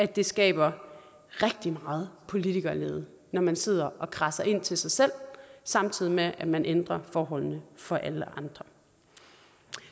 det skaber rigtig meget politikerlede når man sidder og kradser ind til sig selv samtidig med at man ændrer forholdene for alle andre